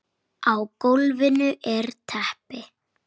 Á gólfinu er teppi.